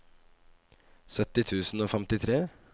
sytti tusen og femtitre